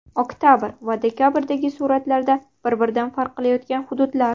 Oktabr va dekabrdagi suratlarda bir-biridan farq qilayotgan hududlar.